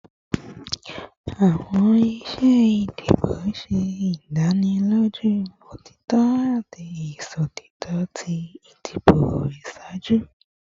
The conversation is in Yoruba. Awọn iṣe idibo ṣe idaniloju otitọ ati iṣotitọ ti idibo iṣaaju